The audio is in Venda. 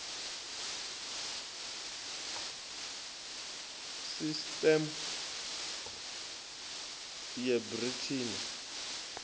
sisteme ya brt ri na